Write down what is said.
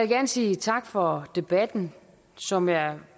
gerne sige tak for debatten som jeg